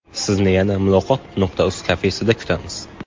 Sizni yana Muloqot.Uz kafesida kutamiz!